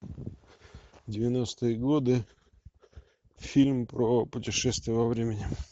девяностые годы фильм про путешествие во времени